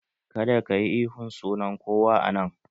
Kada kayi ihun sunan kowa a nan!